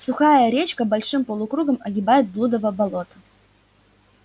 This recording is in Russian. сухая речка большим полукругом огибает блудово болото